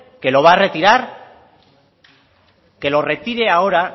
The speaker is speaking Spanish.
que lo va a retirar que lo retire ahora